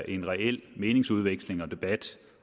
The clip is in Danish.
en reel meningsudveksling og debat